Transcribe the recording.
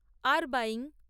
আর্বায়িং